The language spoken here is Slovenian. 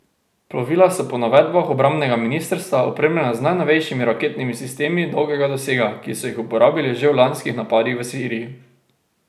Plovila so po navedbah obrambnega ministrstva opremljena z najnovejšimi raketnimi sistemi dolgega dosega, ki so jih uporabili že v lanskih napadih v Siriji.